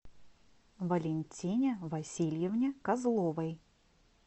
валентине васильевне козловой